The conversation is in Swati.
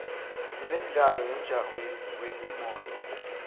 sinemdlalo wemjaho yetimoto